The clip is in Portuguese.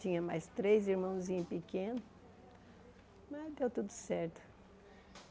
Tinha mais três irmãozinhos pequenos, mas deu tudo certo.